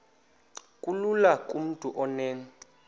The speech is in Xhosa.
kulula kumntu onen